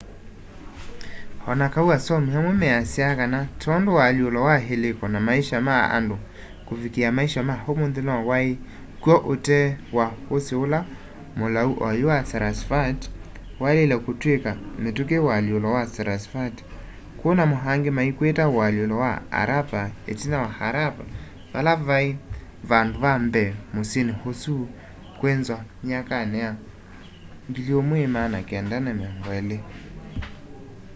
o na kau asomi amwe measyaa kana tondu ualyuulo wa iliko na maisha ma andu kuvikiia maisha ma umunthi no waii kw'o utee was usi ula mulau oyu wa sarasvati wailile kwitwa mituki ualyulo-wa-sarasvati kuu namo angi maikwita ualyulo wa harappa itina wa harappa vala vai vandu va mbee musyini usu kwinzwa myakani ya 1920